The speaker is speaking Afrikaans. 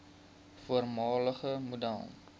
voormalige model